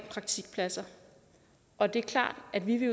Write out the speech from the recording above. praktikpladser og det er klart at vi